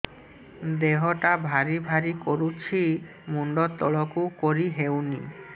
ଦେହଟା ଭାରି ଭାରି କରୁଛି ମୁଣ୍ଡ ତଳକୁ କରି ହେଉନି